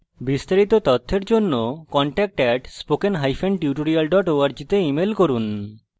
বিস্তারিত তথ্যের জন্য contact @spokentutorial org তে ইমেল করুন